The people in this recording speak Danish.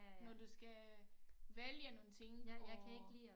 Når du skal vælge nogle ting og